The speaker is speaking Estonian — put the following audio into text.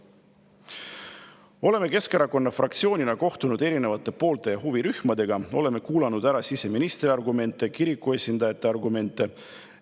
Me oleme Keskerakonna fraktsioonina kohtunud erinevate poolte ja huvirühmadega, oleme kuulanud ära siseministri argumente ja kiriku esindajate argumente.